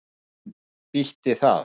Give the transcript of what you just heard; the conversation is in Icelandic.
Slæm býti það.